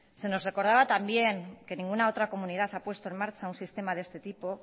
se nos recordará también que ninguna otra comunidad ha puesto en marcha un sistema de este tipo